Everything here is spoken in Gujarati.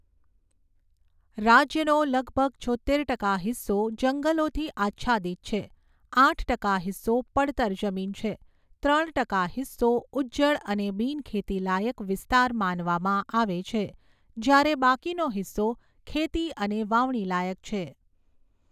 રાજ્યનો લગભગ છોત્તેર ટકા હિસ્સો જંગલોથી આચ્છાદિત છે, આઠ ટકા હિસ્સો પડતર જમીન છે, ત્રણ ટકા હિસ્સો ઉજ્જડ અને બિનખેતીલાયક વિસ્તાર માનવામાં આવે છે, જ્યારે બાકીનો હિસ્સો ખેતી અને વાવણીલાયક છે.